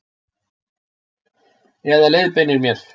Eða leiðbeinir mér.